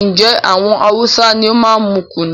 Njé àwọn Hausa ní o máa n mú kùnú?